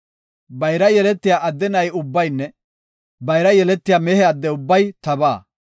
“Bayra yeletiya adde na7i ubbaynne bayra yeletiya mehe adde ubbay tabaa.